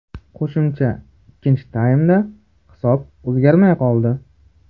Qo‘shimcha ikkinchi taymda hisob o‘zgarmay qoldi.